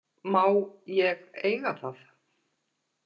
Má ég eiga það?